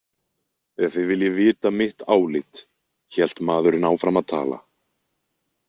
Ef þið viljið vita mitt álit, hélt maðurinn áfram að tala.